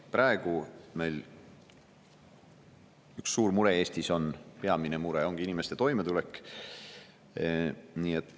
Praegu on meil Eestis peamine mure inimeste toimetulek.